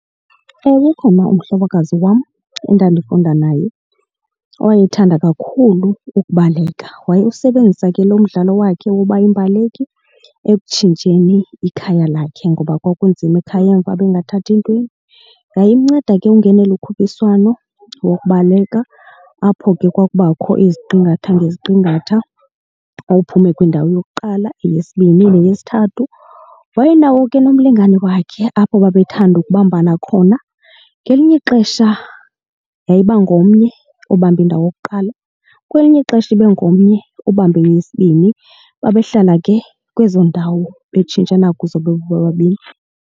Ewe, ukhona umhlokazi wam endandifunda naye owayethanda kakhulu ukubaleka. Wayewusebenzisa ke lo mdlalo wakhe woba yimbaleki ekutshintsheni ikhaya lakhe ngoba kwakunzima ekhaya emva, bengathathi ntweni. Yayimnceda ke ungenela ukhuphiswano wokubaleka apho ke kwakubakho iziqingatha ngeziqingatha xa wuphume kwindawo yokuqala eyesibini neyesithathu. Wayenawo ke nomlingane wakhe apho babethanda ukubambana khona. Ngelinye ixesha yayiba ngomnye obambe indawo yokuqala, kwelinye ixesha ibe ngomnye obambe eyesibini. Babehlala ke kwezo ndawo betshintshana kuzo bebobabini.